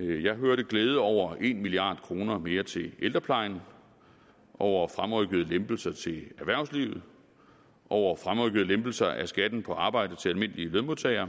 jeg hørte glæde udtrykt over en milliard kroner mere til ældreplejen over fremrykkede lempelser til erhvervslivet over fremrykkede lempelser af skatten på arbejde til almindelige lønmodtagere